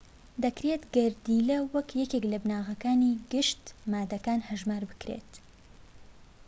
دەکرێت گەردیلە وەک یەکێک لە بناغەکانی گشت ماددەکان هەژمار بکرێت